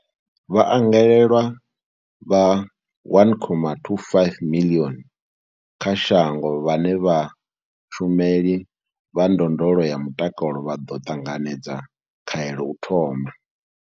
Vhaangalelwa vha 1.25 miḽioni kha shango vhane vha vha vhashumeli vha ndondolo ya mutakalo vha ḓo ṱanganedza khaelo u thoma.